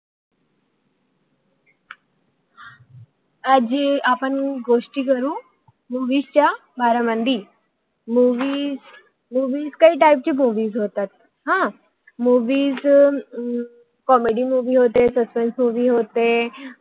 आज आपण गोष्टी करू मूव्हिस च्या बारे मध्ये खूप टाईप type च्या मुवीस असतात अं कॉमेडी comedy मुवि होते सस्पेन्स suspense मोवी होते